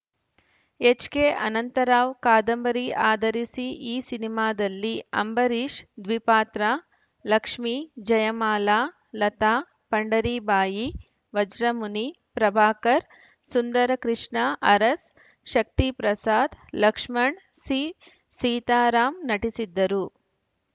HK Anantharao ಕಾದಂಬರಿ ಆಧರಿಸಿದ ಈ ಸಿನಿಮಾದಲ್ಲಿ ಅಂಬರೀಷ್‌ದ್ವಿಪಾತ್ರ ಲಕ್ಷ್ಮಿ ಜಯಮಾಲಾ ಲತಾ ಪಂಡರೀಬಾಯಿ ವಜ್ರಮುನಿ ಪ್ರಭಾಕರ್‌ ಸುಂದರಕೃಷ್ಣ ಅರಸ್‌ ಶಕ್ತಿ ಪ್ರಸಾದ್‌ ಲಕ್ಷ್ಮಣ್‌ ಸಿಸೀತಾರಾಮ್‌ ನಟಿಸಿದ್ದರು